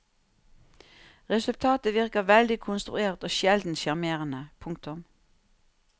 Resultatet virker veldig konstruert og sjelden sjarmerende. punktum